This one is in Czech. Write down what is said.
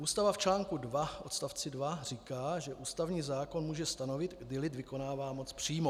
Ústava v článku 2 odst. 2 říká, že ústavní zákon může stanovit, kdy lid vykonává moc přímo.